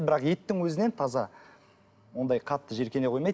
бірақ еттің өзінен таза ондай қатты жиіркене қоймайды